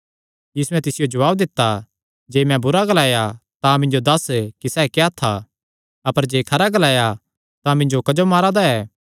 यीशुयैं तिसियो जवाब दित्ता जे मैं बुरा ग्लाया तां मिन्जो दस्स कि सैह़ क्या था अपर जे खरा ग्लाया तां मिन्जो क्जो मारा दा ऐ